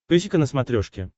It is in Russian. песика на смотрешке